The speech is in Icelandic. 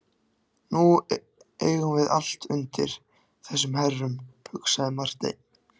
Nú eigum við allt undir þessum herrum, hugsaði Marteinn.